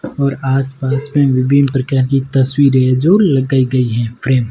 और आसपास में विभिन्न प्रकार की तस्वीरें जो लगाई गई हैं फ्रेम ।